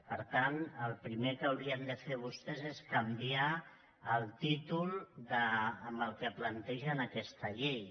per tant el primer que haurien de fer vostès és canviar el títol amb què plantegen aquesta llei